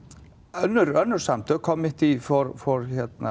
önnur önnur samtök for